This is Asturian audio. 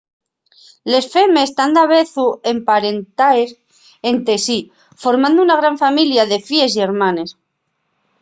les femes tán davezu emparentaes ente sí formando una gran familia de fíes y hermanes